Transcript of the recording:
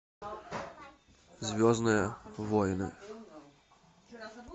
звездные войны